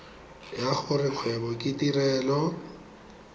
ya gore kgwebo ke tirelo